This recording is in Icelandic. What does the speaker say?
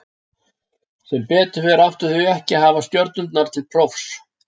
Sem betur fer áttu þau ekki að hafa stjörnurnar til prófs.